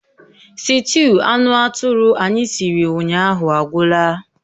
Sịtịụ anụ atụrụ anyị siri ụnyaahụ agwụla